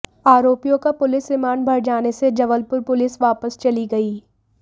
आरोपियों का police remand बढ़ जाने से जबलपुर पुलिस वापस चली गई